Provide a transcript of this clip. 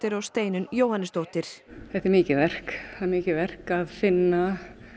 og Steinunn Jóhannesdóttir þetta er mikið verk það er mikið verk að finna